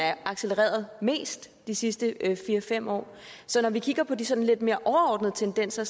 er accelereret mest de sidste fire fem år så når vi kigger på de sådan lidt mere overordnede tendenser